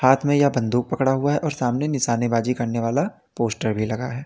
हाथ में या बंदूक पकड़ा हुआ है और सामने निशानेबाजी करने वाला पोस्टर भी लगा है।